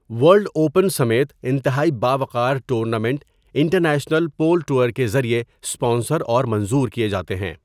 World open سمیت انتہائی باوقار ٹورنامنٹ انٹرنیشنل پول ٹور کے ذریعے سپانسر اور منظور کیے جاتے ہیں۔